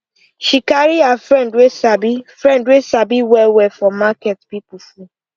she carry her friend wey sabi friend wey sabi price wellwell for market people full